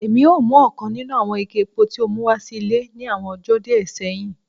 Èmi o mu ọ̀kan nínú àwọn ike epo tí o mú wá sí ile ní àwọn ọjó díẹ séhìn